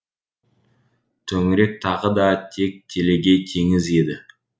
төңірек тағы да тек телегей теңіз еді